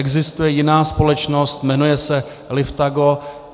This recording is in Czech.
Existuje jiná společnost, jmenuje se Liftago.